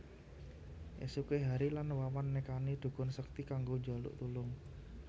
Esuké Hary lan Wawan nekani dhukun sekti kanggo njaluk tulung